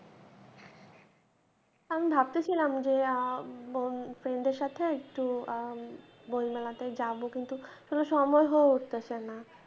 আমি ভাবতেছিলাম যে আহ friend দের সাথে একটু বইমেলাতে যাব কিন্তু সময় হয়ে উঠতেছে না